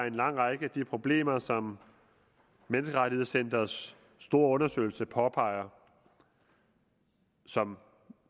en lang række af de problemer som menneskerettighedscenterets store undersøgelse påpeger og som